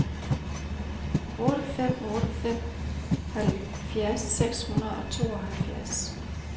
otte fem otte fem halvfjerds seks hundrede og tooghalvfjerds